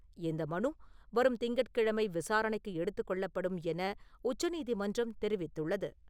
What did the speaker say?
இந்த மனு வரும் திங்கட்கிழமை விசாரணைக்கு எடுத்துக் கொள்ளப்படும் என உச்ச நீதிமன்றம் தெரிவித்துள்ளது.